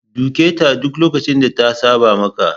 Duketa duk lokacin da ta saba maka!